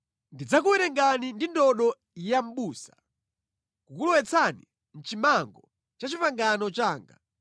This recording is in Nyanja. Ndidzakuwerengani ndi ndodo ya mʼbusa, kukulowetsani mʼchimango cha pangano langa.